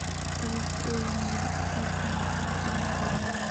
Sababta Ewinga sarcomka lama garanayo.